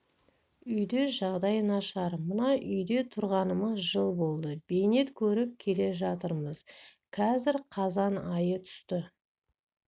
үйде жағдай нашар мына үйде тұрғаныма жыл болды бейнет көріп келе жатырмыз қазір қазан айы түсті